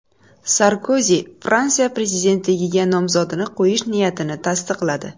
Sarkozi Fransiya prezidentligiga nomzodini qo‘yish niyatini tasdiqladi.